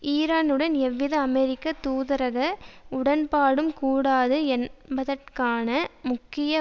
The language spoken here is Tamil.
ஈரானுடன் எவ்வித அமெரிக்க தூதரக உடன்பாடும் கூடாது என்பதற்கான முக்கிய